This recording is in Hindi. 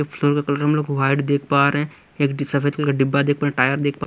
फ्लोर का कलर हम लोग वाइट देख पा रहे हैं एक सफेद कलर का डिब्बा देख पा रहे टायर देख पा--